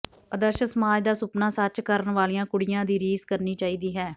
ਆਦਰਸ਼ ਸਮਾਜ ਦਾ ਸੁਪਨਾ ਸੱਚ ਕਰਨ ਵਾਲੀਆਂ ਕੁੜੀਆਂ ਦੀ ਰੀਸ ਕਰਨੀ ਚਾਹੀਦੀ ਹੈ